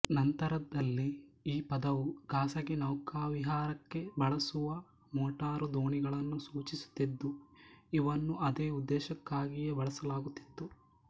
ನಂತರದಲ್ಲಿ ಈ ಪದವು ಖಾಸಗಿ ನೌಕಾವಿಹಾರಕ್ಕೆ ಬಳಸುವ ಮೋಟಾರು ದೋಣಿಗಳನ್ನು ಸೂಚಿಸುತ್ತಿದ್ದು ಇವನ್ನು ಅದೇ ಉದ್ದೇಶಕ್ಕಾಗಿಯೇ ಬಳಸಲಾಗುತ್ತಿತ್ತು